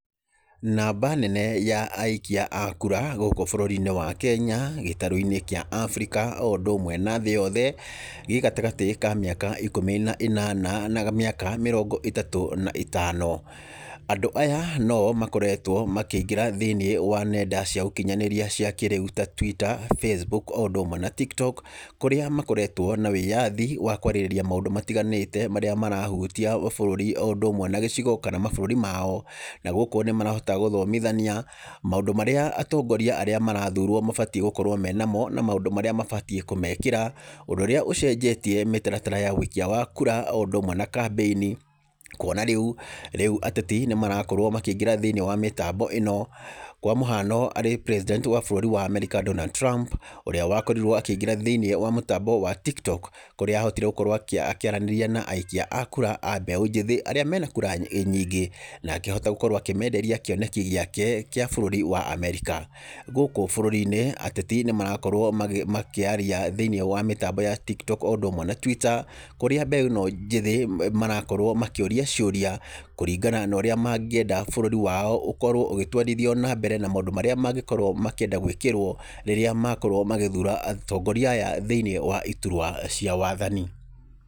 Namba nene ya aikia akura gũkũ bũrũri-inĩ wa Kenya, gĩtaro-inĩ kĩa Abirika, o ũndũ ũmwe na thĩ yothe, gĩgatagatĩ ka mĩaka ikumi na ĩnana, na mĩaka mĩrongo ĩtatũ na ĩtano. Andũ aya noo makoretwo makĩingĩra thĩiniĩ wa nenda cia ũkinyanĩria cia kĩrĩu ta Twitter, Facebook o ũndũ ũmwe na Tiktok, kũrĩa makoretwo na wĩyathi wa kwarĩrĩria maũndũ matiganĩte, marĩa marahutia bũrũri, o ũndũ ũmwe na gĩcigo, kana mabũrũri mao, naguo korwo nĩ marahota gũthomithania, maũndũ marĩa atongoria arĩa marathurwo mabatiĩ gũkorwo menamamo, na maũndũ marĩa mabatiĩ kũmekĩra, ũndũ ũrĩa ũcenjetie mĩtaratara ya wĩikia wa kura, o ũndũ ũmwe na kambĩini, kuona rĩu, rĩu ateti nĩ marakorwo makĩingĩra thĩiniĩ wa mĩtambo ĩno, kwa mũhano, arĩ president wa bũrũri wa Ameria Donald Trump, ũrĩa wakorirwo akĩingĩra thĩiniĩ wa mũtambo wa Tiktok, kũrĩa hotire gũkorwo akĩaranĩria na aikia a kura ambeũ njĩthĩ arĩa mena kura nyingĩ, nakĩhota gũkorwo akĩmenderia kĩoneki gĩake, kĩa bũrũri wa Amerika, gũkũ bũrũri-inĩ ateti nĩ marakorwo makĩ makĩaria thĩiniĩ wa mĩtambo ya Tiktok, o ũndũ ũmwe na Twitter, kũrĩa mbeũ ĩno njĩthĩ marakorwo makĩũria ciũria, kũringana na ũrĩa mangĩenda bũrũri wao ũkorwo ũgĩtwarithio na mbere na maũndũ marĩa mangĩenda gwĩkĩrwo, rĩrĩa makorwo magĩthura atongoria aya thĩiniĩ wa iturwa cia wathani.